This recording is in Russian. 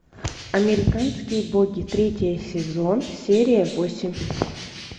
американские боги третий сезон серия восемь